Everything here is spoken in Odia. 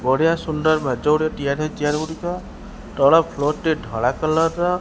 ବଢ଼ିଆ ସୁନ୍ଦର୍ ମେଜଗୁଡ଼ିକ ତିଆରି ହୋଇଚି ଚେୟାର ଗୁଡ଼ିକ ତଳ ଫ୍ଲୋର ଟି ଧଳା କଲର୍ ର --